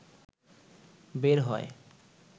বের হয়।